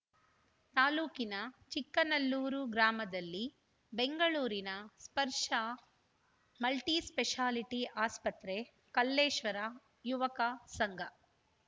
ತಾಲೂಕಿನ ಚಿಕ್ಕನಲ್ಲೂರು ಗ್ರಾಮದಲ್ಲಿ ಬೆಂಗಳೂರಿನ ಸ್ಪರ್ಶ ಮಲ್ಟಿಸ್ಪೆಷಾಲಿಟಿ ಆಸ್ಪತ್ರೆ ಕಲ್ಲೇಶ್ವರ ಯುವಕ ಸಂಘ